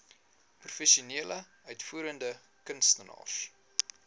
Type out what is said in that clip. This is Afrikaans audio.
professionele uitvoerende kunstenaars